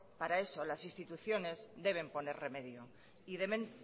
para eso las instituciones deben poner remedio y deben